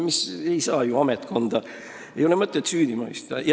Ei ole ju mõtet ametkonda süüdi mõista.